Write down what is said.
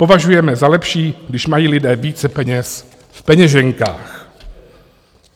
Považujeme za lepší, když mají lidé více peněz v peněženkách.